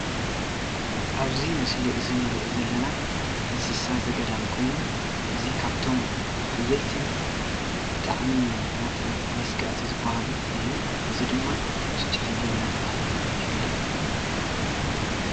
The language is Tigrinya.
ኣብዚ ምስሊ እንሪኦ ዘለና እንስሳ ዘገዳም ኮይኑ እዚ ካብቶም ሓየልትን ብጣዕሚ መስጋእቲ ዝባሃሉ እዩ፡፡ እዚ ድማ ቱቱሑላይ እናተባሃለ ይፍለጥ፡፡